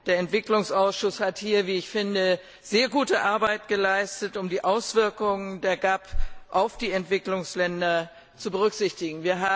Der Entwicklungsausschuss hat hier, wie ich finde, sehr gute Arbeit geleistet, um die Auswirkung der GAP auf die Entwicklungsländer zu berücksichtigen.